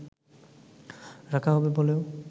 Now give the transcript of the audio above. রাখা হবে বলেও